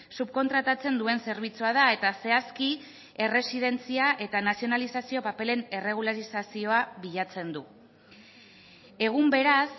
subkontratatzen duen zerbitzua da eta zehazki erresidentzia eta nazionalizazio paperen erregularizazioa bilatzen du egun beraz